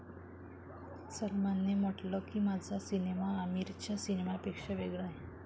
सलमानने म्हटलं की, 'माझा सिनेमा आमीरच्या सिनेमापेक्षा वेगळा आहे.